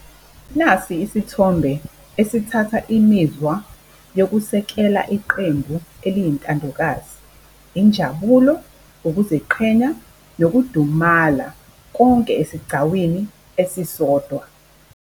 Nasi isithombe esithatha imizwa yokusekela iqembu eliyintandokazi. Injabulo, ukuziqhenya, nokudumala, konke esigcawini esisodwa.